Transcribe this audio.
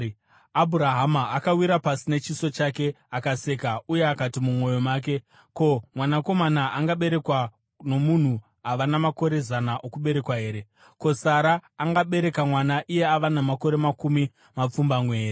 Abhurahama akawira pasi nechiso chake, akaseka uye akati mumwoyo make, “Ko, mwanakomana angaberekwa nomunhu ava namakore zana okuberekwa here? Ko, Sara angabereka mwana iye ava namakore makumi mapfumbamwe here?”